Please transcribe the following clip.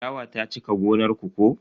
Ciyawa ta cika gonar ku ko?